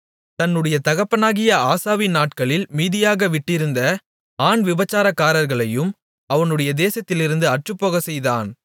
தன்னுடைய தகப்பனாகிய ஆசாவின் நாட்களில் மீதியாக விட்டிருந்த ஆண் விபசாரக்காரர்களையும் அவனுடைய தேசத்திலிருந்து அற்றுப்போகச்செய்தான்